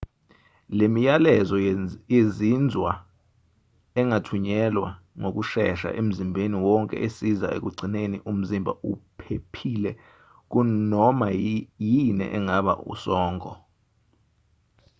le miyalezo yezinzwa engathunyelwa ngokushesha emzimbeni wonke esiza ekugcineni umzimba uphephile kunoma yini engaba usongo